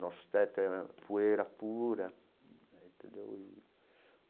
Nosso teto era poeira pura é entendeu e.